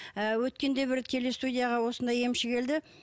ы өткенде бір телестудияға осындай емші келді